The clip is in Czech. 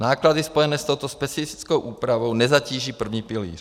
Náklady spojené s touto specifickou úpravou nezatíží první pilíř.